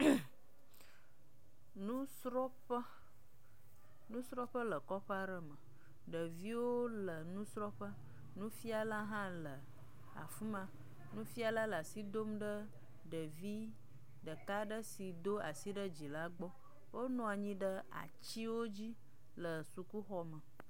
ŋŋŋmm, nusrɔ̃ƒe, nusrɔ̃ƒe le kɔƒe aɖe me. Ɖeviwo le nusrɔ̃ƒe, nufiala hã le afi ma, nufiala le asi dom ɖe ɖevi ɖeka aɖe si do asi ɖe dzi la gbɔ. Wonɔ anyi ɖe atiwo dzi le sukuxɔ me.